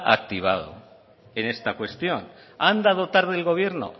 activado en esta cuestión ha andado tarde el gobierno